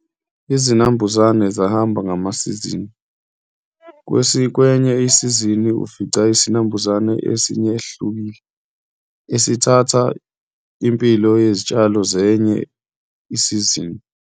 Izinambuzane zahamba ngama sizini. Kwenye isizini ufica isinambuzane esinye esihlukile esithatha impilo yezitshalo zenye isizini.